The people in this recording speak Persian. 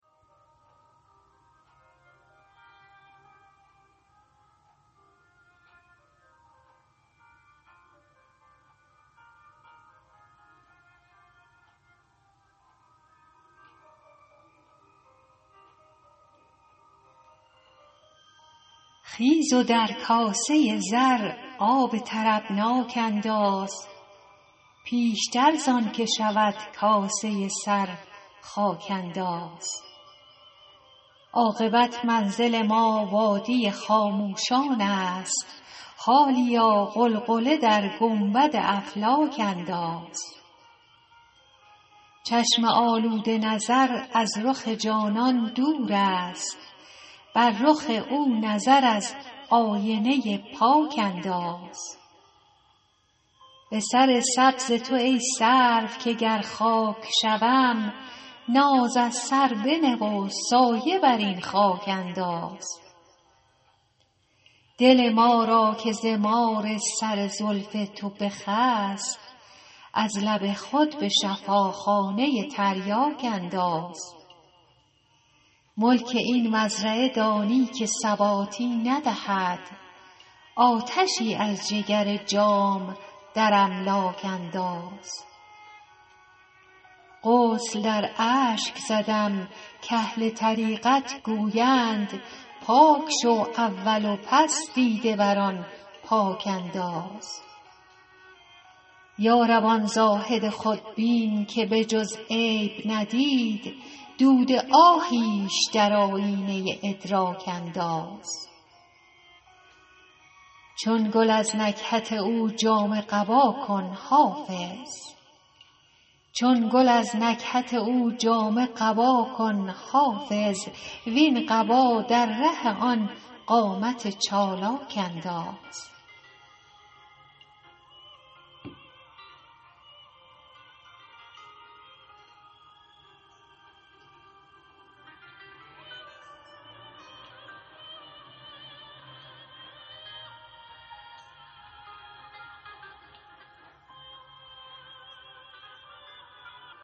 خیز و در کاسه زر آب طربناک انداز پیشتر زان که شود کاسه سر خاک انداز عاقبت منزل ما وادی خاموشان است حالیا غلغله در گنبد افلاک انداز چشم آلوده نظر از رخ جانان دور است بر رخ او نظر از آینه پاک انداز به سر سبز تو ای سرو که گر خاک شوم ناز از سر بنه و سایه بر این خاک انداز دل ما را که ز مار سر زلف تو بخست از لب خود به شفاخانه تریاک انداز ملک این مزرعه دانی که ثباتی ندهد آتشی از جگر جام در املاک انداز غسل در اشک زدم کاهل طریقت گویند پاک شو اول و پس دیده بر آن پاک انداز یا رب آن زاهد خودبین که به جز عیب ندید دود آهیش در آیینه ادراک انداز چون گل از نکهت او جامه قبا کن حافظ وین قبا در ره آن قامت چالاک انداز